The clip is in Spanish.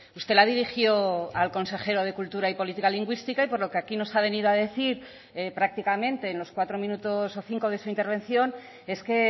usted la dirigió al consejero de cultura y política lingüística y por lo que aquí nos ha venido a decir prácticamente en los cuatro minutos o cinco de su intervención es que